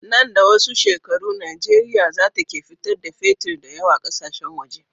Nan da wasu shekaru nigeria zata ke fitar da fetir dayawa ƙasashen waje